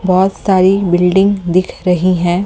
बहुत सारी बिल्डिंग दिख रही है।